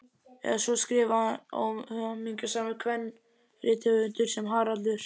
Eða svo skrifaði óhamingjusamur kvenrithöfundur sem Haraldur